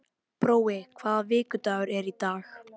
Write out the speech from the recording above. Brói, hvaða vikudagur er í dag?